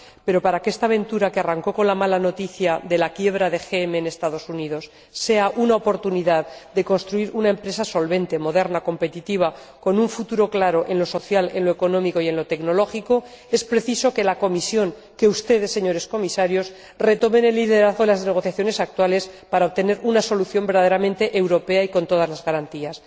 Pero, para que esta aventura, que arrancó con la mala noticia de la quiebra de GM en Estados Unidos, sea una oportunidad para construir una empresa solvente, moderna, competitiva y con un futuro claro en lo social, en lo económico y en lo tecnológico, es preciso que la Comisión, que ustedes, señores Comisarios, retomen el liderazgo en las negociaciones actuales, para obtener una solución verdaderamente europea y con todas las garantías.